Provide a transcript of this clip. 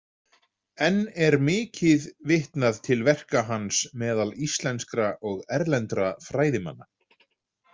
Enn er mikið vitnað til verka hans meðal íslenskra og erlendra fræðimanna.